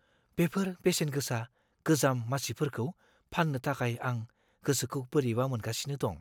बेफोर बेसेनगोसा गोजाम मासिफोरखौ फान्नो थाखाय आं गोसोखौ बोरैबा मोनगासिनो दं।